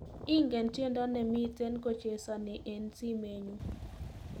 Ingen tyendo nemiten kochesani eng simenyu